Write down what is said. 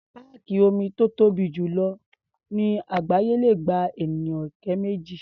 Páàkì omi tó tóbi jù lọ ní àgbááyé le gba ènìyàn ọ̀kẹ́ méjì.